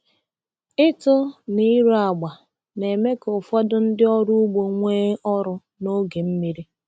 Ịtụ na ire agba na-eme ka ụfọdụ ndị ọrụ ugbo nwee ọrụ n’oge mmiri.